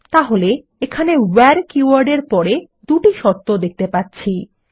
তাহলে আমরা ভেরে কীওয়ার্ড এর পরে দুটি শর্ত দেখতে পাচ্ছি